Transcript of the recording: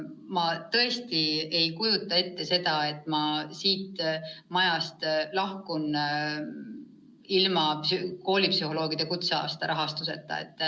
Ma tõesti ei kujuta ette, et ma siit majast lahkun ilma teie nõusolekuta koolipsühholoogide kutseaastat rahastada.